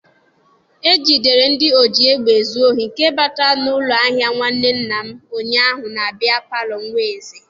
E jidere ndị ọji egbe ezu ohi nke batara n'ụlọ ahịa nwanne nna m ụnyaahụ na biya paalọ Nweze.